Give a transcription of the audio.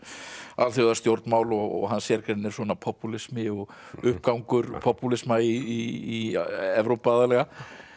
alþjóðastjórnmál og hans sérgrein er svona popúlismi og uppgangur popúlisma í Evrópu aðallega